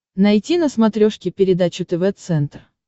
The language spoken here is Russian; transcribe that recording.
найти на смотрешке передачу тв центр